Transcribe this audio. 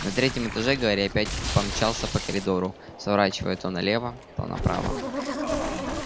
на третьем этаже гарри опять помчался по коридору сворачивая то налево то направо